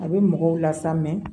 A bɛ mɔgɔw la sa